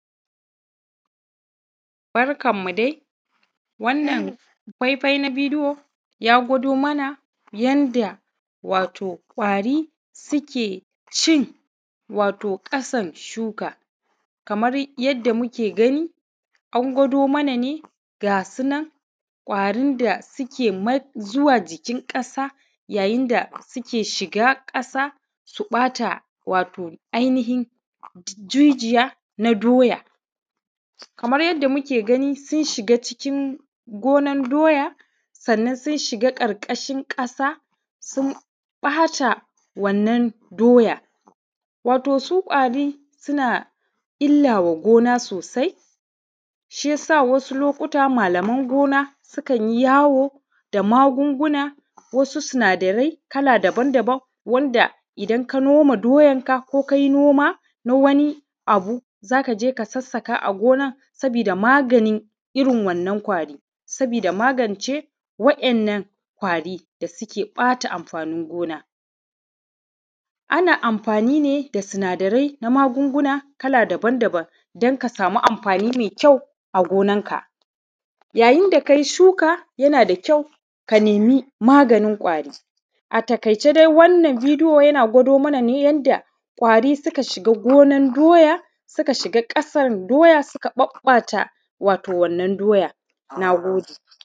Barkanmu dai, wannan faifai na bidiyo ya gwado mana yanda wato kwari suke cin wato ƙasa shuka kamar yadda muke gani an gwado mana ne ga sunan kwarin da suke ma suke zuwa jikin ƙasa yayin da suke shiga ƙasa su ɓata wato ainihin jijiya na doya kamar yadda muke gani sun shiga cikin gonar doya sanan sun shiga ƙarƙashin ƙasa sun ɓata wannan doya wato su kwari suna illa wa gona sosai shi yasa wasu lokata malaman gona sukan yi yawo da magunguna na wasu sinadari kala dabanda, wanda idan ka noma doyanka ko kai oma na wannan abu, za ka ja ka sassaka agonan sabida magani irin wannan kwari sabida magance waɗannan kwarin da ke ɓata amfanin gona ana amfani ne da sinadarai na magunguna kala dabanda, dan ka sami amfani mai kyau a gonanka yayin da kayin shuka yana da kyau ka nemi maganin kwari. Ataƙaice dai wannan bidiyo yana gwado mana ne yadda kwari suka shiga gonan doya, suke shiga ƙasan doya suka ɓaɓɓata wato wannan doya. Na gode.